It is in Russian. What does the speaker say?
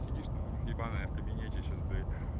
сидишь там у них ебаная в кабинете сейчас блять